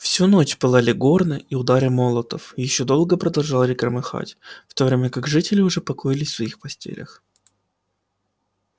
всю ночь пылали горны и удары молотов ещё долго продолжали громыхать в то время как жители уже покоились в своих постелях